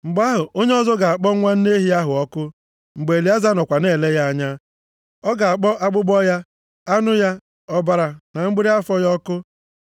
Mgbe ahụ, onye ọzọ ga-akpọ nwa nne ehi ahụ ọkụ mgbe Elieza nọkwa na-ele ya anya. Ọ ga-akpọ akpụkpọ ya, anụ ya, ọbara na mgbịrị afọ ya ọkụ.